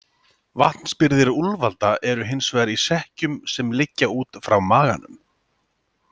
Vatnsbirgðir úlfalda eru hins vegar í sekkjum sem liggja út frá maganum.